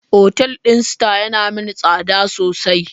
Otal din star yana min tsada sosai.